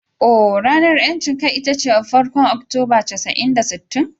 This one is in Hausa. Ohh, ranar 'yancin kai ita ce farkon Oktoba casa'in da sittin.